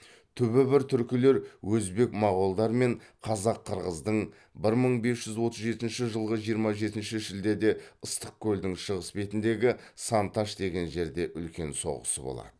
түбі бір түркілер өзбек моғолдар мен қазақ қырғыздың бір мың бес жүз отыз жетінші жылғы жиырма жетінші шілдеде ыстық көлдің шығыс бетіндегі сан таш деген жерде үлкен соғысы болады